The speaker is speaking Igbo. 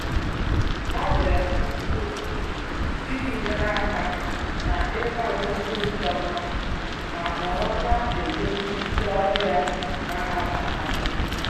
Abịara m n'isi ụtụtụ iji nyere aka n'ịkwado ihe ịchọ mma ma nọrọ na-eduzi ndị ọbịa na-abata